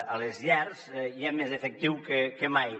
a les llars hi ha més efectiu que mai